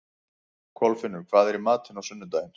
Kolfinnur, hvað er í matinn á sunnudaginn?